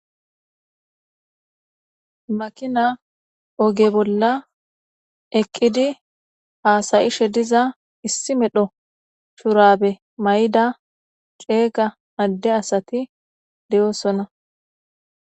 makina oge bolla eqqidi haasayishe diza issi medho shurabe may7ida ceega adde asati de7oosona